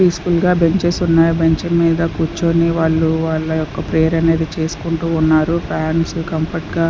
piece full గా benches ఉన్నాయి ఆ బెంచ్ మీద కూర్చుని వాళ్ళు వాళ్ళ యొక్క ప్రేయర్ అనేది చేసుకుంటూ ఉన్నారు ఫ్యాన్స్ కంఫర్ట్ గా --